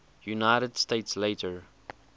united states later